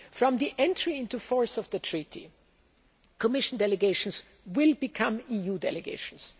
From the entry into force of the Treaty, Commission delegations will become EU delegations.